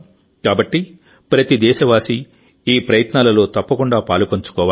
కాబట్టి ప్రతి దేశవాసీ ఈ ప్రయత్నాలలో తప్పకుండా పాలుపంచుకోవాలి